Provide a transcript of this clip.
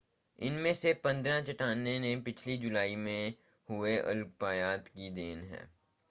इनमें से पंद्रह चट्टानें पिछली जुलाई में हुए उल्कापात की देन हैं